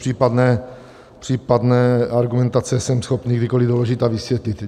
Případné argumentace jsem schopný kdykoliv doložit a vysvětlit.